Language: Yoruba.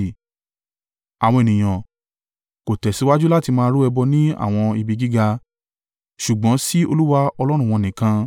Àwọn ènìyàn, ko tẹ̀síwájú láti máa rú ẹbọ ní àwọn ibi gíga. Ṣùgbọ́n sí Olúwa Ọlọ́run wọn nìkan.